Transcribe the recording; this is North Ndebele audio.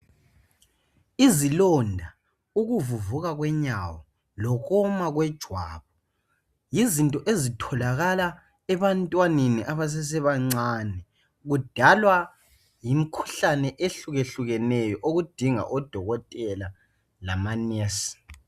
Izilonda ,ukuvuvuka kwenyawo lokoma kwejwabu yizinto ezitholakala ebantwaneni abasesebancane kudalwa yimikhuhlane ehlukehlukeneyo okudinga odokotela lamanesi.